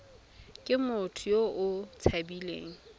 ke motho yo o tshabileng